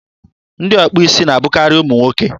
ndị ọkpụ isi na-abụkarị ụmụ nwoke.